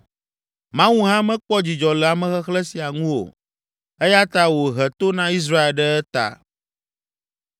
Mawu hã mekpɔ dzidzɔ le amexexlẽ sia ŋu o, eya ta wòhe to na Israel ɖe eta.